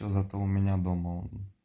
зато у меня дома он